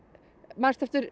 manstu eftir